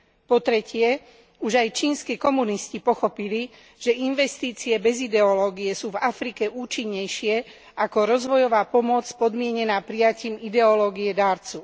Po tretie, už aj čínski komunisti pochopili, že investície bez ideológie sú v Afrike účinnejšie ako rozvojová pomoc podmienená prijatím ideológie darcu.